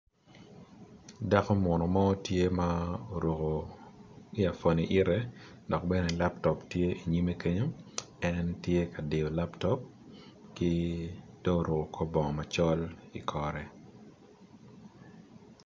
Dako munu mo tye ma oruku iafon ite, dok bene laptop tye inyime kenyo en tye ka diyo laptop, ki do oruku kor bong macol i okore